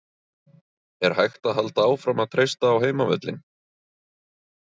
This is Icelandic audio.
Er hægt að halda áfram að treysta á heimavöllinn?